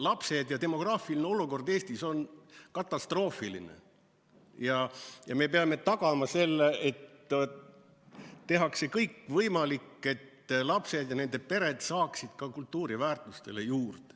Lapsed ja demograafiline olukord Eestis on katastroofiline ja me peame tagama selle, et tehakse kõik võimalik, et lapsed ja nende pered saaksid ka kultuuriväärtustele juurde.